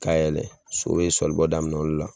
K'a yɛlɛ so be sɔlibɔ daminɛ o le la